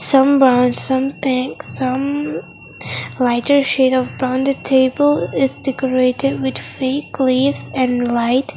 some uh some some lighter shade of rounded table is decorated with fake leaves and light.